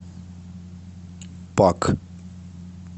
пак